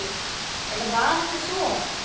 Eða var ekki svo?